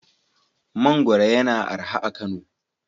Mangwaro yana araha a Kano.